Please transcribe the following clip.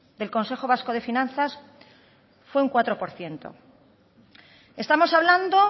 del consejo vasco de finanzas fue un cuatro por ciento estamos hablando